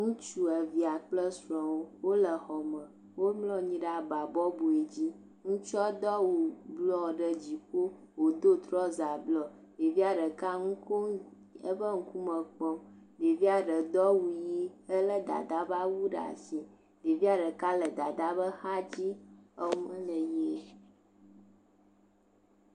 Ŋutsu, evia kple srɔawo wo le xɔ me, wo mlɔa nyi ɖe aba bɔbɔe dzi, ŋutsua do awu blɔ ɖe dzime, wo do trɔza blɔ, ɖevia ɖeka nu kom eƒe ŋkume kpɔm, ɖevia ɖe do awu ɣie ele dada ƒe awu ɖe asi, ɖevia ɖeka le dada ƒe axa dzi, eme le...